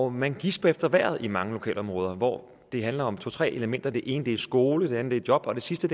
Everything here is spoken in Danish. og man gisper efter vejret i mange lokalområder hvor det handler om to til tre elementer det ene er skole det andet er job og det sidste